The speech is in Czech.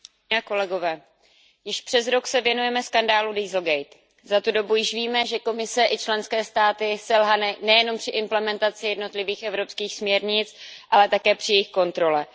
Pane předsedající, již přes rok se věnujeme skandálu Za tu dobu již víme, že Komise i členské státy selhaly nejenom při implementaci jednotlivých evropských směrnic, ale také při jejich kontrole.